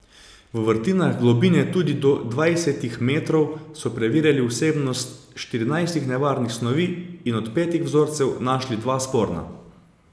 V vrtinah, globine tudi do dvajsetih metrov, so preverjali vsebnost štirinajstih nevarnih snovi in od petih vzorcev našli dva sporna.